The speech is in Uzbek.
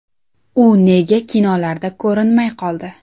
U nega kinolarda ko‘rinmay qoldi?